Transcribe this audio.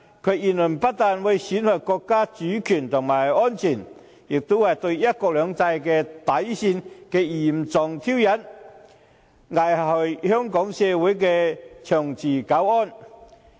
其言論不單會損害國家主權及安全，亦是對"一國兩制"底線的嚴重挑釁，危害香港社會的長治久安。